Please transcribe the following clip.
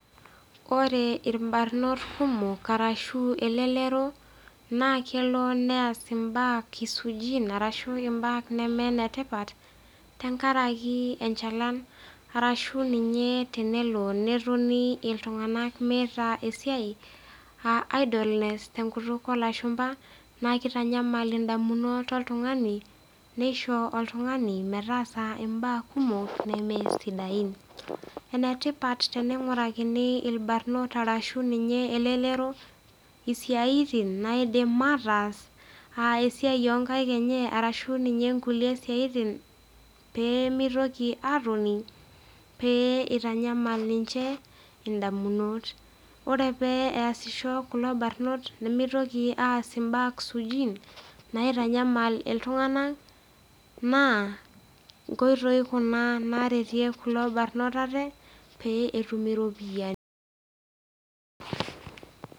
Ore ilbarnot kumok anaa elelero naa kelo neas imbaa suujin ashu imbaa nemee inetipata tenkaraki arashu ninye, nelo netoni iltung'ana meata esiai aa idleness te enkutuk oolashumba naa keitanyamal indamunot oltung'ani neisho oltung'ani metaasa imbaa kumok, nemeesidain. Enetipat teneing'urakini ilmuran anaa elelero esiaitin naidim ataas aa ninye esiai oonkaik enye arashu ninye inkulie siaitin pee meitoki atoni pee eitanyal ninche indamunot. Ore pee easisho kulo barnot nemeitoki aas imbaa suujin naitanyamal iltung'ana naa inkoitoi kuna naaretieki ilbarnot aate pee etum iropiani.